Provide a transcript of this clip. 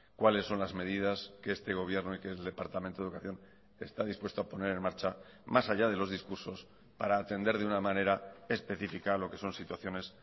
cuáles son las medidas que este gobierno y que el departamento de educación está dispuesto a poner en marcha más allá de los discursos para atender de una manera específica a lo que son situaciones